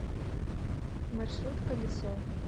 маршрут колесо